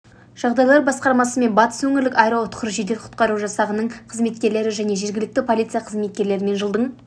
жағдайлар басқармасы мен батыс өңірлік аэроұтқыр жедел-құтқару жасағы нің қызметкерлері және жергілікті полиция қызметкерлерімен жылдың